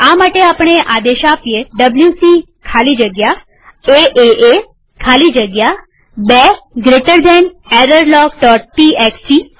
આ માટે આપણે આ આદેશ ડબ્લ્યુસી ખાલી જગ્યા એએ ખાલી જગ્યા 2 જમણા ખૂણાવાળો કૌંસ errorlogટીએક્સટી આપી શકીએ